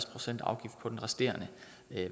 procent afgift på den resterende